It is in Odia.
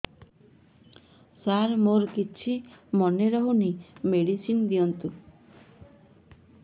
ସାର ମୋର କିଛି ମନେ ରହୁନି ମେଡିସିନ ଦିଅନ୍ତୁ